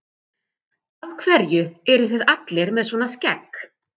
Af hverju eruð þið allir með svona skegg?